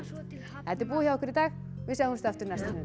þetta er búið hjá okkur í dag við sjáumst aftur næsta sunnudag